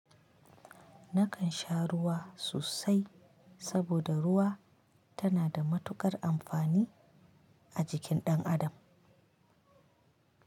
Nakan sha ruwa sosai saboda ruwa tana da matuƙar amfani a jikin ɗan adam.